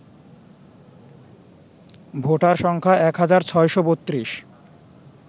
voter সংখ্যা ১৬৩২